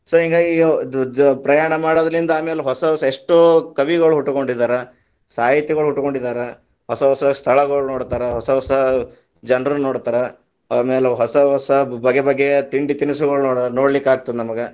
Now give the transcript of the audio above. So ಹಿಂಗಾಗಿ ಅದ್‌ ಜ~ ಪ್ರಯಾಣ ಮಾಡೋದರಲಿಂದ ಆಮೇಲ ಹೊಸ ಹೊಸ ಎಷ್ಟೋ ಕವಿಗಳು ಹುಟ್ಟಕೊಂಡಿದಾರ, ಸಾಹಿತಿಗಳ ಹುಟ್ಟಕೊಂಡಿದಾರ, ಹೊಸ ಹೊಸ ಸ್ಥಳಗಳು ನೋಡತಾರ, ಹೊಸ ಹೊಸ ಜನರನ್ನ ನೋಡತಾರ, ಆಮೇಲ ಹೊಸ ಹೊಸ ಬಗೆ ಬಗೆಯ ತಿಂಡಿ ತಿನಿಸು ತಿನಿಸುಗಳ ನೋಡ್‌~ ನೋಡಲಿಕ್ಕಾಗದತದ ನಮಗೆ.